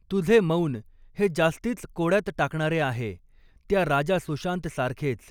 तुझे मौन हे जास्तीच कोड्यात टाकणारे आहे, त्या राजा सुशांत सारखेच !